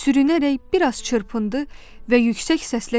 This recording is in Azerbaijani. Sürünərək bir az çırpındı və yüksək səslə dedi: